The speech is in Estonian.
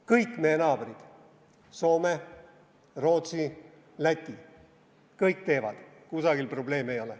Kõik meie naabrid – Soome, Rootsi, Läti – kõik teevad seda, kusagil ei ole probleemi.